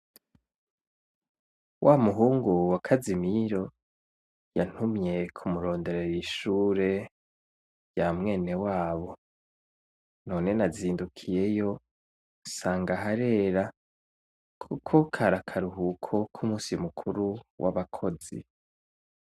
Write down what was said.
Wa muhungu wa Kazimiro yantumye kumuronderera ishure ya mwene wabo none nazindukiyeyo nsanga harera kuko kari akaruhuko ku munsi mu kuru wabakozi.